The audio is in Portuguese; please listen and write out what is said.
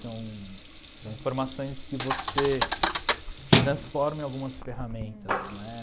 São são informações que você transforma em algumas ferramentas, né?